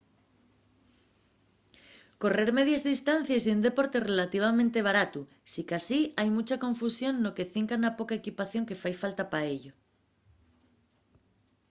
correr medies distancies ye un deporte relativamente baratu sicasí hai muncha confusión no que cinca la poca equipación que fai falta pa ello